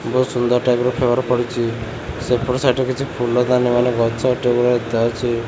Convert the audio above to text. ବହୁତ ସୁନ୍ଦର ଟାଇପ୍ ର ଫ୍ଲାଉଆର ପଡ଼ିଚି ସେପଟେ ସାଇଟ ରେ କିଛି ଫୁଲଦାନି ମାନେ ଗଛ ଟେ ଭଳିଆ ଥାଉଚି।